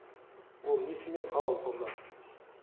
ол несімен халал сонда